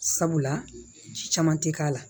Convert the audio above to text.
Sabula ji caman tɛ k'a la